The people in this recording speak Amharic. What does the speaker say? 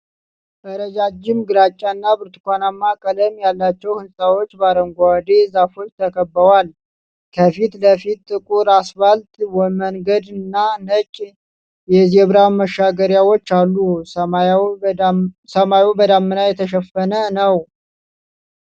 ረጃጅም ግራጫና ብርቱካናማ ቀለም ያላቸው ህንጻዎች በአረንጓዴ ዛፎች ተከበዋል። ከፊት ለፊት ጥቁር አስፋልት መንገድና ነጭ የዜብራ መሻገሪያዎች አሉ። ሰማዩ በደመና የተሸፈነ ነው።